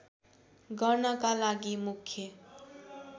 गर्नका लागि मुख्य